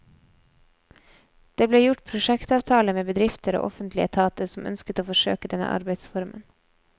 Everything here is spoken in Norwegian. Det ble gjort prosjektavtaler med bedrifter og offentlige etater som ønsket å forsøke denne arbeidsformen.